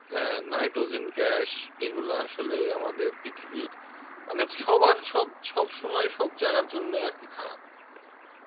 হ্যাঁ nitrogen gas এগুলো আসলে আমাদের পৃথিবীর, মানে সবার সব সব সময় সব জায়গার জন্যে আরকি খারাপ